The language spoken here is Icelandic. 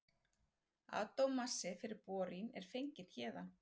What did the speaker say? Atómmassi fyrir bórín er fenginn héðan.